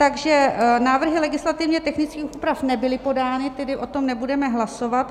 Takže návrhy legislativně technických úprav nebyly podány, tedy o tom nebudeme hlasovat.